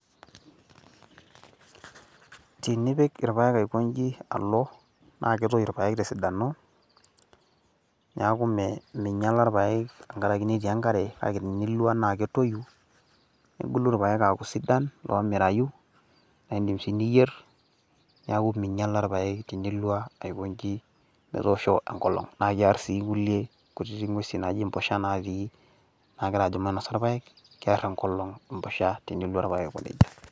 tenipik irpaek aikoji alo, naa ketoyu irpaek tesidano, neeku mingiala irpaek tenkaraki netii enkare. kake tenilo naa ketoyu, nebulu irpaek aaku sidan, nemirayu, naa idim sii niyier, niaku ming'iala irpaek tinilo aikoji metoosho enolong. naa kiar sii inkulie nguesi naaji mpushan, nagira ajo mainosa irpaek. keer enkolong empusha. tenilo aiko nejia.